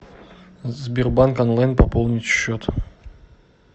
сбербанк онлайн пополнить счет